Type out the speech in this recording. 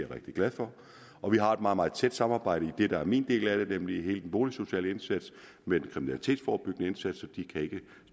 rigtig glad for og vi har et meget meget tæt samarbejde i det der er min del af det nemlig hele den boligsociale indsats med den kriminalitetsforebyggende indsats